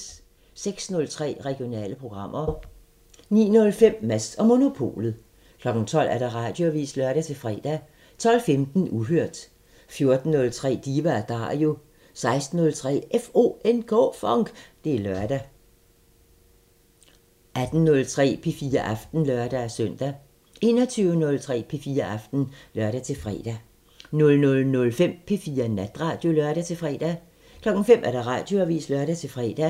06:03: Regionale programmer 09:05: Mads & Monopolet 12:00: Radioavisen (lør-fre) 12:15: Uhørt 14:03: Diva & Dario 16:03: FONK! Det er lørdag 18:03: P4 Aften (lør-søn) 21:03: P4 Aften (lør-fre) 00:05: P4 Natradio (lør-fre) 05:00: Radioavisen (lør-fre)